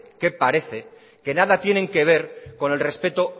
que parece que nada tienen que ver con el respeto